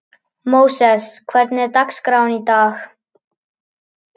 Móses, hvernig er dagskráin í dag?